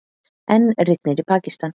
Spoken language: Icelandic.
Enn rignir í Pakistan